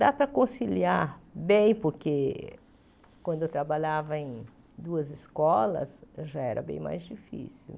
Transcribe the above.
Dá para conciliar bem, porque quando eu trabalhava em duas escolas, já era bem mais difícil.